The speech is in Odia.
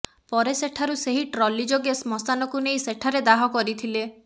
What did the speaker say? ପରେ ସେଠାରୁ ସେହି ଟ୍ରଲି ଯୋଗେ ଶ୍ମଶାନକୁ ନେଇ ସେଠାରେ ଦାହ କରିଥିଲେ